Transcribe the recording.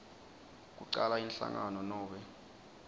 kucala inhlangano nobe